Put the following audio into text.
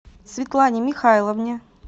светлане михайловне